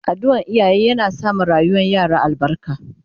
Addu'an iyaye yana sa ma rayuwar yara albarka